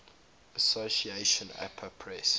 association apa press